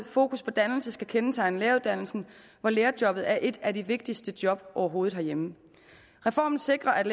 fokus på dannelse skal kendetegne læreruddannelsen hvor lærerjobbet er et af de vigtigste job overhovedet herhjemme reformen sikrer at